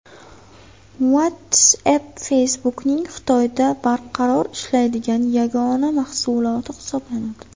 WhatsApp – Facebook’ning Xitoyda barqaror ishlaydigan yagona mahsuloti hisoblanadi.